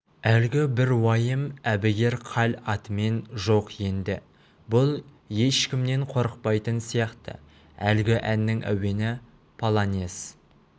әлгі бір уайым әбігер хал атымен жоқ енді бұл ешкімнен қорықпайтын сияқты әлгі әннің әуені полонез